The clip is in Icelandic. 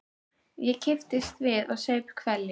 Ég kipptist við og saup hveljur.